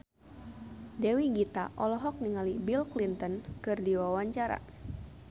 Dewi Gita olohok ningali Bill Clinton keur diwawancara